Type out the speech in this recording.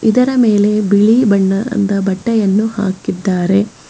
ಇದರ ಮೇಲೆ ಬಿಳಿ ಬಣ್ಣದ ಬಟ್ಟೆಯನ್ನು ಹಾಕಿದ್ದಾರೆ.